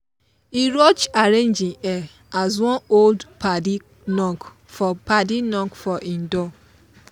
e rush arrange him hair as one old padi knock for padi knock for him door